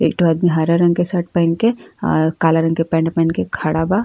एक ठो आदमी हरा रंग के शर्ट पहिन के और काला रंग के पैंट पहन के खड़ा बा।